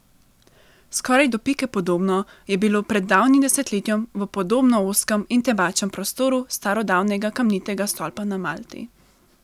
Skoraj do pike podobno je bilo pred davnim desetletjem v podobno ozkem in temačnem prostoru starodavnega kamnitega stolpa na Malti.